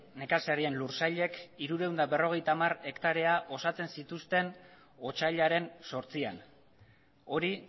nekazarien lursailek hirurehun eta berrogeita hamar hektarea osatzen zituzten otsailaren zortzian hori